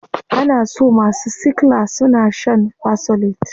Ana so masu sickla suna shaa shan fersolate.